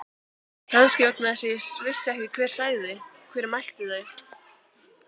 Kannski vegna þess að ég vissi ekki hver sagði. hver mælti þau.